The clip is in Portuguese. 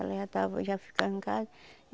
Ela já estava já ficando em casa.